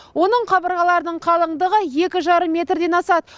оның қабырғаларының қалыңдығы екі жарым метрден асады